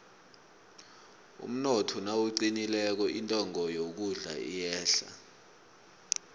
umnotho nawuqinileko intengo yokudla iyehla